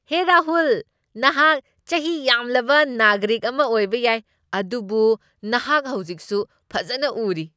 ꯍꯦ ꯔꯥꯍꯨꯜ, ꯅꯍꯥꯛ ꯆꯍꯤ ꯌꯥꯝꯂꯕ ꯅꯥꯒꯔꯤꯛ ꯑꯃ ꯑꯣꯏꯕ ꯌꯥꯏ, ꯑꯗꯨꯕꯨ ꯅꯍꯥꯛ ꯍꯧꯖꯤꯛꯁꯨ ꯐꯖꯅ ꯎꯔꯤ꯫